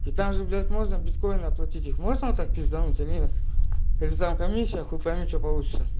и там же блять можно биткоины оплатить их можно вот так пиздануть или нет или там комиссия хуй пойми что получится